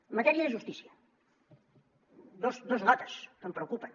en matèria de justícia dos notes que em preocupen